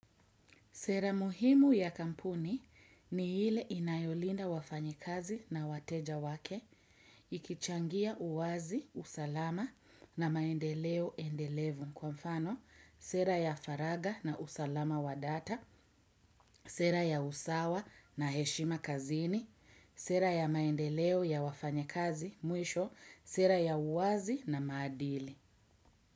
Sera muhimu ya kampuni ni ile inayolinda wafanyakazi na wateja wake, ikichangia uwazi, usalama na maendeleo endelevu. Kwa mfano, sera ya faraga na usalama wa data, sera ya usawa na heshima kazini, sera ya maendeleo ya wafanyakazi mwisho, sera ya uwazi na maadili.